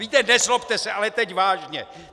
Víte, nezlobte se, ale teď vážně.